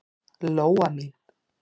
Lóa mín.